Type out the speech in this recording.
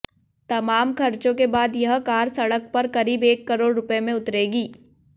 तमाम खर्चों के बाद यह कार सड़क पर करीब एक करोड़ रुपए में उतरेगी